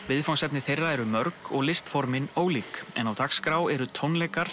viðfangsefni þeirra eru mörg og ólík en á dagskrá eru tónleikar